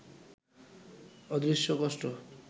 অদৃশ্য কষ্ট